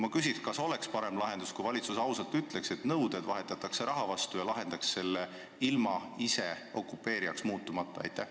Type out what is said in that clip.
Ma küsin: kas oleks parem lahendus, kui valitsus ausalt ütleks, et nõuded vahetatakse raha vastu, ja lahendaks selle küsimuse ilma ise okupeerijaks muutumata?